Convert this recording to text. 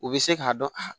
U bɛ se k'a dɔn a